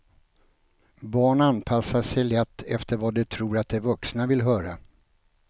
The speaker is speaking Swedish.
Barn anpassar sig lätt efter vad de tror att de vuxna vill höra.